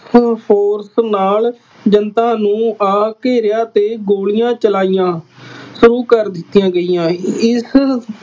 Force ਨਾਲ ਜਨਤਾ ਨੂੰ ਆ ਘੇਰਿਆ ਅਤੇ ਗੋਲੀਆਂ ਚਲਾਈਆ, ਸ਼ੁਰੂ ਕਰ ਦਿੱਤੀਆਂ ਗਈਆਂ। ਇਸ